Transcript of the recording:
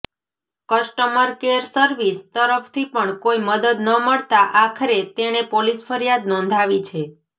customer care service તરફથી પણ કોઈ મદદ ન મળતાં આખરે તેણે પોલીસ ફરિયાદ નોંધાવી છે